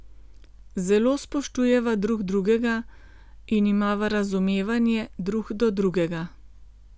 Zelo spoštujeva drug drugega in imava razumevanje drug do drugega.